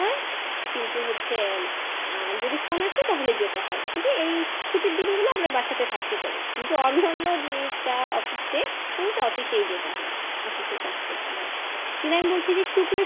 কিন্তু হচ্ছে যদি Phone আসে তাহলে যেতে হয় এই ছুটির দিনগুলো আমরা বাসাতে থাকতে পারি কিন্তু অন্যান্য যে যা Office day ঐগুলোতে Office এই যেতে হয় Office এর কাজ করতে হয় কিন্তু আমি বলছি যে শুক্র